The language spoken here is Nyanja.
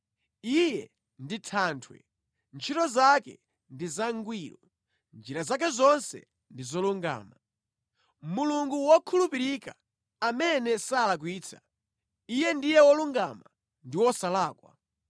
Iye ndi Thanthwe, ntchito zake ndi zangwiro, njira zake zonse ndi zolungama. Mulungu wokhulupirika amene salakwitsa, Iye ndiye wolungama ndi wosalakwa.